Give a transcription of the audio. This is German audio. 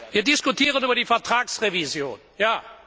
Wir diskutieren über die Vertragsrevision, ja!